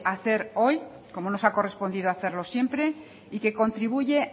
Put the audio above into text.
hacer hoy como nos ha correspondido hacerlo siempre y que contribuye